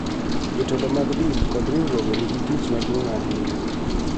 Jotelo mag din kod riwruoge nigi tich maduong� ahinya .